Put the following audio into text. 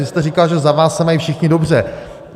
Vy jste říkal, že za vás se mají všichni dobře.